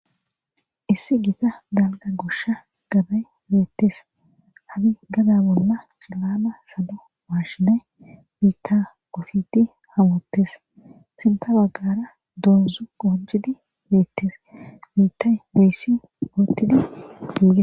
issi gita galga gosha gaday beettes hadi gada bolla xilama salo washinay biitta ofidi ha woottes sinta baggara doozzu qoncidi beettes biittay boyssi gootididuge